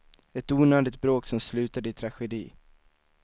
Ett onödigt bråk som slutade i tragedi.